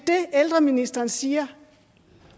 ældreministeren siger